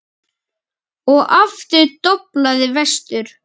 Og aftur doblaði vestur.